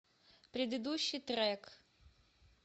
предыдущий трек